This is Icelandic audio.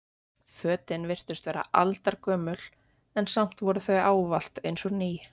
Fötin virtust vera aldargömul en samt voru þau ávallt eins og ný.